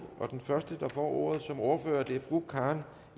og den første der får ordet som ordfører er fru karen